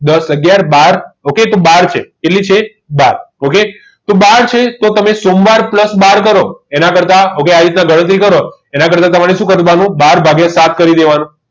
દસ અગિયાર બાર okay તો બહાર છે કેટલી છે બાર છે okay તો બાર તો તમે સોમવાર plus બાર કરો એના કરતા okay આવી રીતે ગણતરી કરો એના કરતાં તમારે શું કરવાનું બાર વાગ્યા સાત કરી દેવાના